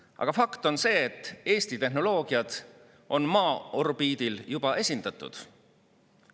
" Aga fakt on see, et Eesti tehnoloogiad on Maa orbiidil juba esindatud.